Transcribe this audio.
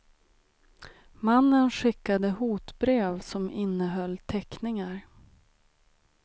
Mannen skickade hotbrev som innehöll teckningar.